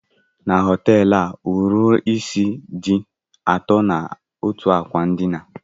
Na họteelụ a, ohiri isí dị atọ n'otú ákwà ndịna.